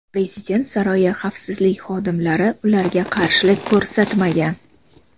Prezident saroyi xavfsizlik xodimlari ularga qarshilik ko‘rsatmagan.